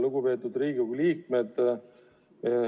Lugupeetud Riigikogu liikmed!